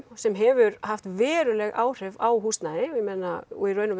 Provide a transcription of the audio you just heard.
sem hefur haft veruleg áhrif á húsnæði og